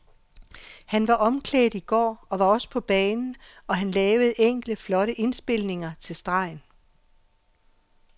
Han var omklædt i går og var også på banen, og han lavede enkelte flotte indspilninger til stregen.